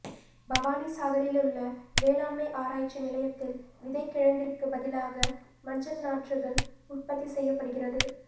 பவானி சாகரிலுள்ள வேளாண்மை ஆராய்ச்சி நிலையத்தில் விதை கிழங்கிற்குபதிலாக மஞ்சள் நாற்றுகள் உற்பத்தி செய்யப்படுகிறது